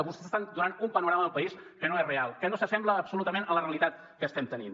vostès estan donant un panorama del país que no és real que no s’assembla en absolut a la realitat que estem tenint